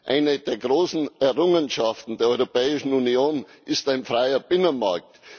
Eine der großen Errungenschaften der Europäischen Union ist ein freier Binnenmarkt.